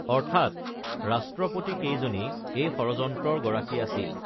অৰ্থাৎ ৰাষ্ট্ৰপতিকেইজনেই এই ষড়যন্ত্ৰৰ গৰাকী আছিল